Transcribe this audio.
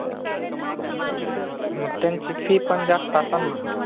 मग त्यांची fee पन जास्त आसाल ना?